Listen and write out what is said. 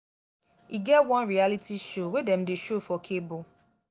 e get one reality show wey dem dey show for cable